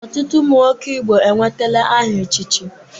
Ọtụtụ ụmụ nwoke Igbo enwetala aha echichi.